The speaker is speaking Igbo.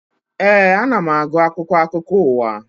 Ee, ana m agụ akwụkwọ akụkọ ụwa